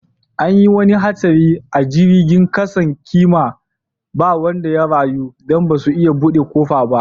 An yi wani hatsari a jirigin kasan kima ba wanda ya rayu dan basu iya bude kofan ba.